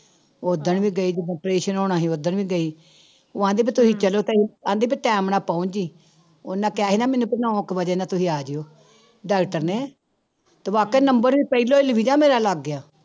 ਓਦਣ ਵੀ ਗਈ ਜਦੋਂ operation ਹੋਣਾ ਸੀ ਓਦਣ ਵੀ ਗਈ, ਉਹ ਕਹਿੰਦੀ ਵੀ ਤੁਸੀਂ ਚਲੋ ਤੇ ਕਹਿੰਦੀ ਵੀ time ਨਾਲ ਪਹੁੰਚ ਜਾਈ, ਉਹਨਾਂ ਕਿਹਾ ਸੀ ਨਾ ਮੈਨੂੰ ਵੀ ਨੋਂ ਕੁ ਵਜੇ ਨਾ ਤੁਸੀਂ ਆ ਜਾਇਓ doctor ਨੇ ਤੇ ਵਾਕਈ number ਪਹਿਲੋਂ ਮੇਰਾ ਲੱਗ ਗਿਆ।